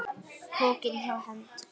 Pokinn hjá Hend